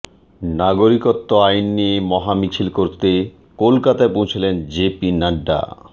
নাগরিকত্ব আইন নিয়ে মহামিছিল করতে কলকাতায় পৌঁছলেন জে পি নাড্ডা